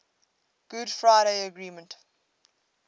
good friday agreement